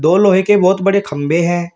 दो लोहे के बहुत बड़े खंभे है।